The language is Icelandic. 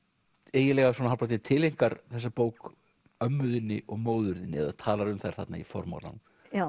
eiginlega hálfpartinn tileinkar þessa bók ömmu þinni og móður þinni eða talar um þær þarna í formálanum